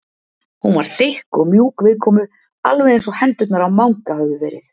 Hún var þykk og mjúk viðkomu alveg eins og hendurnar á Manga höfðu verið.